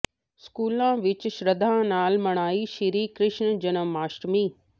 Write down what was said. ਸਕੂਲਾਂ ਵਿੱਚ ਸ਼ਰਧਾ ਨਾਲ ਮਨਾਈ ਸ੍ਰੀ ਕ੍ਰਿਸ਼ਨ ਜਨਮ ਅਸ਼ਟਮੀ